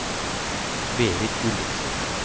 Berit Gulliksen